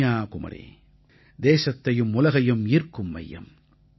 கன்னியாகுமரி தேசத்தையும் உலகையும் ஈர்க்கும் மையம்